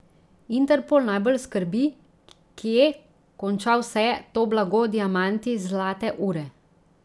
Interpol najbolj skrbi, kje konča vse to blago, diamanti, zlate ure.